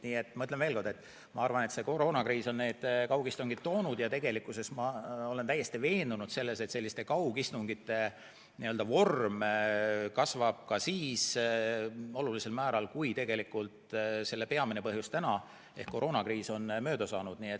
Nii et ma ütlen veel kord: ma arvan, et koroonakriis on kaugistungid toonud ja ma olen täiesti veendunud, et kaugistungite arv kasvab ka siis olulisel määral, kui selle peamine põhjus ehk koroonakriis on mööda saanud.